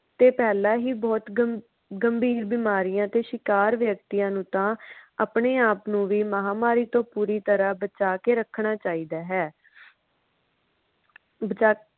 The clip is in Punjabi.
ਤੇ ਪਹਿਲਾ ਹੀ ਬਹੁਤ ਗਮਗੰਬੀਰ ਬਿਮਾਰੀਆਂ ਦੇ ਸ਼ਿਕਾਰ ਵਿਅਕਤੀਆਂ ਨੂੰ ਤਾਂ ਆਪਣੇ ਆਪ ਨੂੰ ਵੀ ਮਹਾਮਾਰੀ ਤੋਂ ਪੂਰੀ ਤਰ੍ਹਾਂ ਬਚਾਕੇ ਰੱਖਣਾ ਚਾਹੀਦਾ ਹੈ ਬਚਾਕੇ